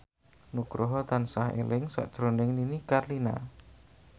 Nugroho tansah eling sakjroning Nini Carlina